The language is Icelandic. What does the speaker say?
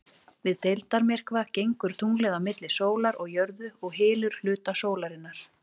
Við deildarmyrkva gengur tunglið á milli sólar og jörðu og hylur hluta sólarinnar.